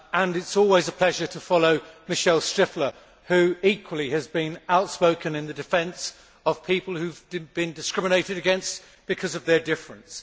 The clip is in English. It is always a pleasure to follow Michèle Striffler who equally has been outspoken in the defence of people who have been discriminated against because of their difference.